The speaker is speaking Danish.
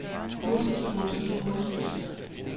kursus kursus kursus